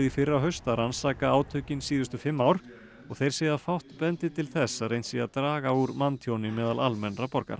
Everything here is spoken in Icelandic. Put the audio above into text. fyrrahaust að rannsaka átökin síðustu fimm ár og þeir segja að fátt bendi til þess að reynt sé að draga úr manntjóni meðal almennra borgara